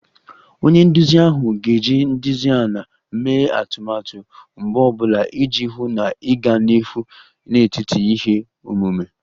Onye nduzi ahụ ga-eji nlezianya mee atụmatụ mgbọ ọ bụla iji hụ na ịga n'ihu n'etiti ihe omume